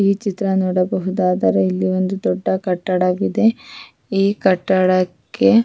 ಈ ಚಿತ್ರ ನೋಡಬಹುದಾದಾದ್ರೆ ಇಲ್ಲಿ ಒಂದು ದೊಡ್ಡ ಕಟ್ಟಡ ಇದೆ ಈ ಕಟ್ಟಡಕ್ಕೆ-